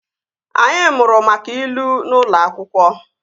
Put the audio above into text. Anyị mụrụ maka ilu n'ụlọ akwụkwọ